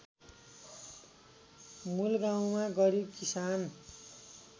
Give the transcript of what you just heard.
मूलगाउँमा गरिब किसान